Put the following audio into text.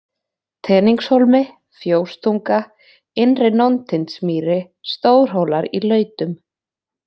Teningshólmi, fjóstunga, Innri-Nóntindsmýri, Stórhólar-í-Lautum